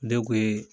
Ne kun ye